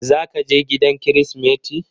Zaka je gida kirismeti?